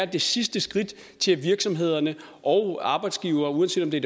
det sidste skridt til at virksomhederne og arbejdsgivere uanset om det